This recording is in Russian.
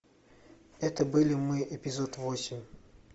это были мы эпизод восемь